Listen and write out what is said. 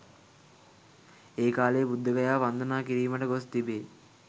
ඒ කාලයේ බුද්ධගයාව වන්දනා කිරීමට ගොස් තිබේ.